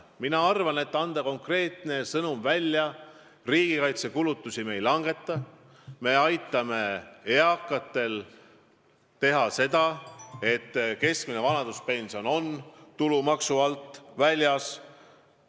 Mina arvan, et on hea anda konkreetne sõnum, et riigikaitsekulutusi me ei vähenda, et me aitame eakaid sellega, et keskmine vanaduspension on tulumaksu alt väljas.